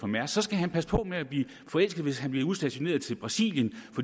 mærsk skal han passe på med at blive forelsket hvis han bliver udstationeret i brasilien